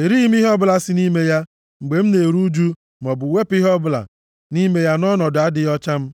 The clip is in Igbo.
Erighị m ihe ọbụla si nʼime ya mgbe m na-eru ụjụ maọbụ wepụ ihe ọbụla nʼime ya nʼọnọdụ adịghị ọcha m,